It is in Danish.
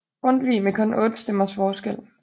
Grundtvig med kun 8 stemmers forskel